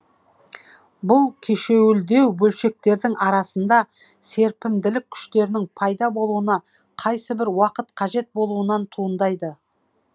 бұл кешеуілдеу бөлшектердің арасында серпімділік күштерінің пайда болуына қайсыбір уақыт қажет болуынан туындайды